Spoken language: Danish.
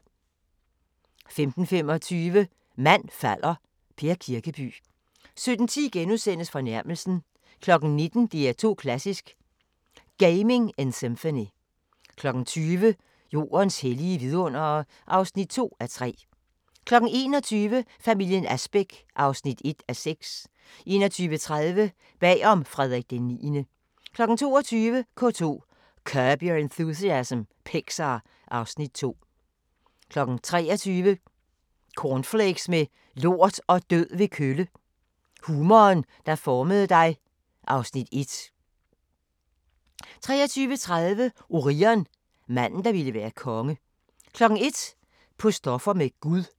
15:25: Mand falder – Per Kirkeby 17:10: Fornærmelsen * 19:00: DR2 Klassisk: Gaming in Symphony 20:00: Jordens hellige vidundere (2:3) 21:00: Familien Asbæk (1:6) 21:30: Bag om Frederik IX 22:00: K2: Curb Your Enthusiasm, Pixar (Afs. 2) 23:00: Cornflakes med lort og død ved kølle – humoren, der formede dig (Afs. 1) 23:30: Orion – manden, der ville være konge 01:00: På stoffer med Gud